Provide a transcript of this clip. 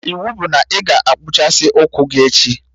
Iwu bụ na ị ga-akpụchasị ụkwụ gị echi!